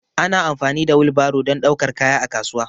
Ana amfani da wil baro dan daukar kaya a kasuwa